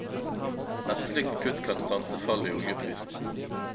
Et slikt kutt kan stanse fallet i oljeprisen.